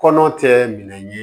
Kɔnɔ tɛ minɛ ye